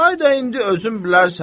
Çay da indi özün bilərsən.